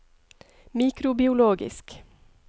mikrobiologisk